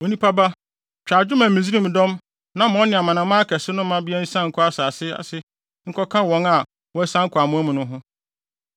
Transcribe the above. “Onipa ba, twa adwo ma Misraim dɔm na ma ɔne amanaman akɛse no mmabea nsian nkɔ asase ase nkɔka wɔn a wɔasian kɔ amoa mu no ho.